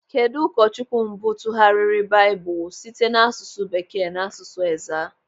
Kedụ ụkọchukwu mbụ tụgharịrị Baịbụl site n'asụsụ Bekee n'asụsụ Ezaa?